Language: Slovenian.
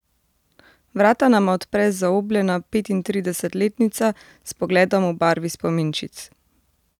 Vrata nama odpre zaobljena petintridesetletnica s pogledom v barvi spominčic.